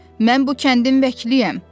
Mən bu kəndin vəkiliyəm.